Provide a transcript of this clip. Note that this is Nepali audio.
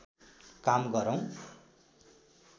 काम गरौँ